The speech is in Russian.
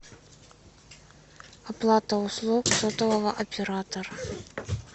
оплата услуг сотового оператора